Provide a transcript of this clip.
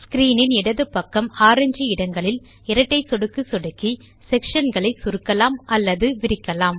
screen இன் இடது பக்கம் ஆரஞ்சு இடங்களில் இரட்டை சொடுக்கு சொடுக்கி செக்ஷன் களை சுருக்கலாம் அல்லது விரிக்கலாம்